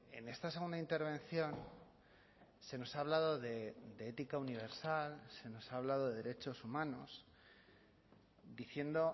en esta segunda intervención se nos ha hablado de ética universal se nos ha hablado de derechos humanos diciendo